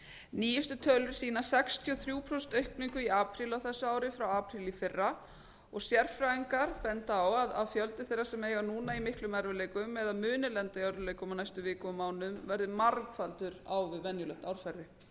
nýjustu tölur sýna sextíu og þrjú prósent aukningu í apríl á þessu ári frá apríl í fyrra sérfræðingar benda á að fjöldi þeirra sem eiga núna í miklum erfiðleikum eða muni lenda í örðugleikum á næstu vikum og mánuðum verði margfaldur á við venjulegt árferði